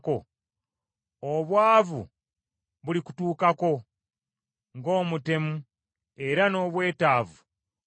obwavu bulikutuukako ng’omutemu, era n’obwetaavu ng’omutemu.